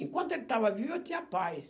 Enquanto ele estava vivo, eu tinha paz.